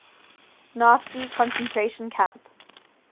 nazi concentration camp